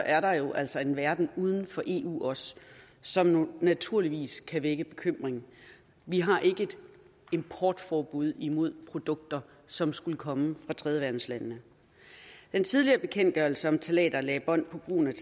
er der jo altså en verden uden for eu også som naturligvis kan vække bekymring vi har ikke et importforbud mod produkter med som skulle komme fra tredjeverdenslandene den tidligere bekendtgørelse om ftalater lagde bånd på brugen af